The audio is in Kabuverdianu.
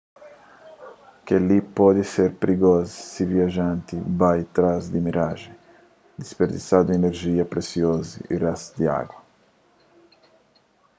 kel-li pode ser prigozu si viajanti bai trás di mirajen disperdisandu inerjia presiozu y réstu di agu